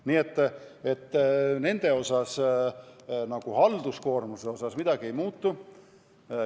Nii et nendel halduskoormuse poolest midagi ei muutu.